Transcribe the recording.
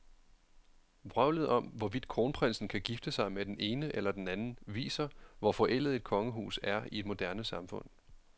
Vrøvlet om, hvorvidt kronprinsen kan gifte sig med den ene eller den anden, viser, hvor forældet et kongehus er i et moderne samfund.